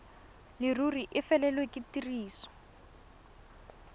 leruri e felelwe ke tiriso